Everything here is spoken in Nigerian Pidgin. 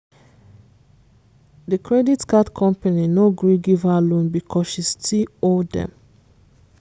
the credit card company no gree give her loan because she still owe dem.